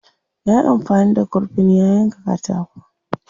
Yayi amfani da kurfin ya yanka katako.